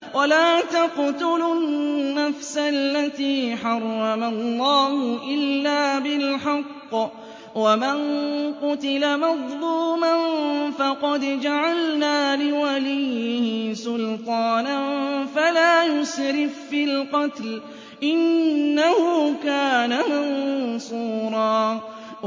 وَلَا تَقْتُلُوا النَّفْسَ الَّتِي حَرَّمَ اللَّهُ إِلَّا بِالْحَقِّ ۗ وَمَن قُتِلَ مَظْلُومًا فَقَدْ جَعَلْنَا لِوَلِيِّهِ سُلْطَانًا فَلَا يُسْرِف فِّي الْقَتْلِ ۖ إِنَّهُ كَانَ مَنصُورًا